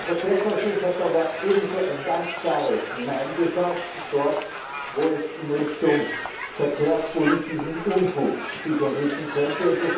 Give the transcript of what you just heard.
Der Verkehrsausschuss hat aber auch ebenso ein ganz klares Nein gesagt dort, wo es sich in Richtung verkehrspolitischem Unfug entwickeln könnte.